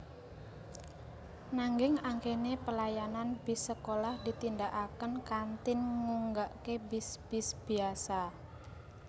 Nanging akehé pelayanan bis sekolah ditindakaké kanthi nggunakaké bis bis biasa